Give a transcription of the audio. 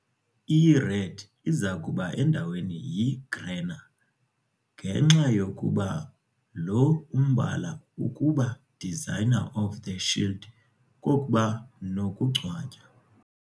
I-red izakuba endaweni yi - grena, ngenxa yokuba lo umbala ukuba designer of the shield kokuba nokungcwatywa.